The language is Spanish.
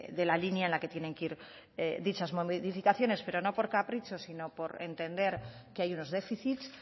de la línea en la que tienen que ir dichas modificaciones pero no por capricho sino por entender que hay unos déficits